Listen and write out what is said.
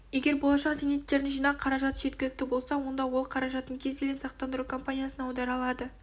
егер болашақ зейнеткердің жинақ қаражаты жеткілікті болса онда ол қаражатын кез келген сақтандыру компаниясына аудара алады